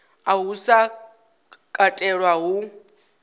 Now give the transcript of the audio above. uhu u sa katelwa hu